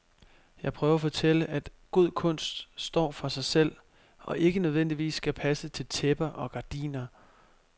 Jeg prøver at fortælle, at god kunst står for sig selv, og ikke nødvendigvis skal passe til tæpper og gardiner.